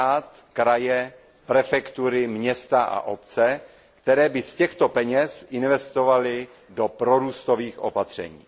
stát, kraje, prefektury, města a obce, které by z těchto peněz investovaly do prorůstových opatření.